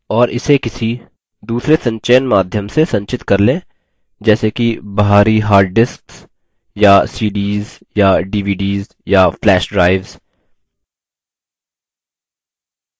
और इसे किसी दूसरे संचयन माध्यम से संचित कर लें जैसे कि बाहरी hard disks या cds या dvds या flash drives